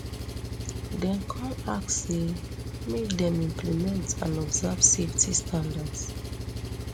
dem kon ask say make dem implement and observe safety standards